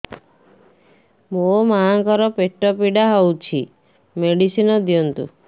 ମୋ ମାଆଙ୍କର ପେଟ ପୀଡା ହଉଛି ମେଡିସିନ ଦିଅନ୍ତୁ